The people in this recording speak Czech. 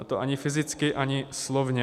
A to ani fyzicky, ani slovně.